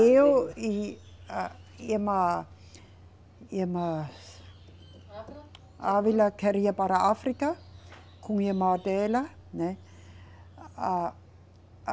Eu e a irmã, irmã. ávila. Ávila queria ir para a África com a irmã dela, né. A, a